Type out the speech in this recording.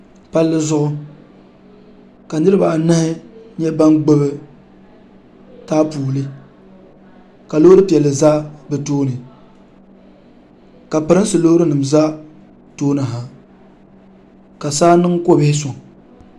Palli zuɣu ka niriba anahi nyɛ bini gbubi taapoli ka loori piɛlli za bi tooni ka pirinsi loori nima za tooni ha ka saa niŋ ko' bihi sɔŋ.